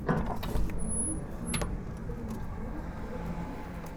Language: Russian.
у тебя есть клип экстрим тойс тэ вэ